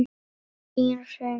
Þín Hrund.